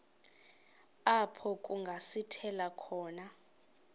apho kungasithela khona